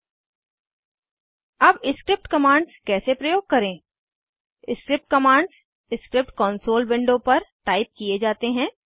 httpchemappsstolafedujmoldocs अब script commands कैसे प्रयोग करें script commands script console window पर टाइप किये जाते हैं